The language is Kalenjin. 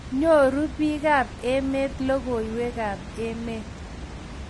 nyoruu biikap emet logoiywekab emet